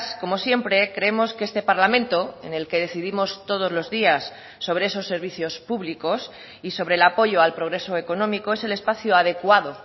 como siempre creemos que este parlamento en el que decidimos todos los días sobre esos servicios públicos y sobre el apoyo al progreso económico es el espacio adecuado